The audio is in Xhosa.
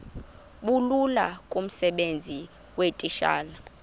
bulula kumsebenzi weetitshala